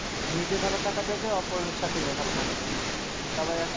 নিজে ভালো থাকা যাবে, অপর সাথে নিয়ে ভালো থাকা যাবে। তারপর একসাথে,